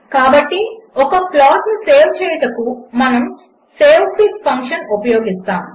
కాబట్టి ఒక ప్లాట్ను సేవ్ చేయుటకు మనము సేవ్ఫిగ్ ఫంక్షన్ ఉపయోగిస్తాము